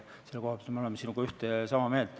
Selle koha pealt me oleme sinuga ühte ja sama meelt.